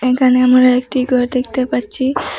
এখানে আমার একটি ঘর দেখতে পাচ্ছি।